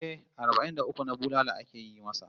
Eh, arbai'n da uku na bulala ake yi masa